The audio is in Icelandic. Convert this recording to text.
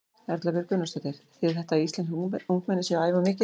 Erla Björg Gunnarsdóttir: Þýðir þetta að íslensk ungmenni séu að æfa of mikið?